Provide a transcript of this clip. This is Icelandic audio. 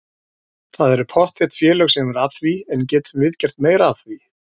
Það eru pottþétt félög sem eru að því en getum við gert meira af því?